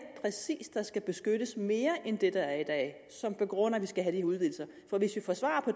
præcist der skal beskyttes mere end det der er i dag som begrunder at vi skal have de udvidelser hvis vi får svar på